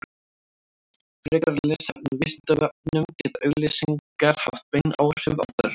frekara lesefni á vísindavefnum geta auglýsingar haft bein áhrif á börn